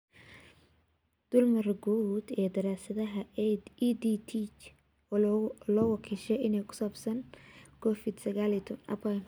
Dulmar guud ee daraasadaha EdTech loo wakiishay ee ku saabsan Covid sagaal iyo tobbaan.